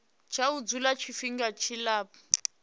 tsha u dzula tshifhinga tshilapfu